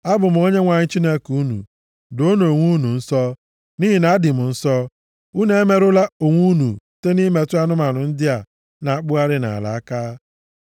Abụ m Onyenwe anyị Chineke unu. Doonụ onwe unu nsọ, nʼihi na adị m nsọ. Unu emerụla onwe unu site nʼimetụ anụmanụ ndị a na-akpụgharị nʼala aka.